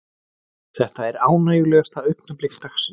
Þetta er ánægjulegasta augnablik dagsins.